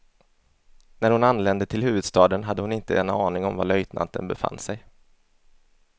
När hon anlände till huvudstaden hade hon inte en aning om var löjtnanten befann sig.